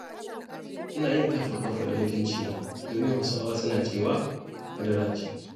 Ina yin kaffa-kaffa da mutuncina, domin Hausawa suna cewa madara ce.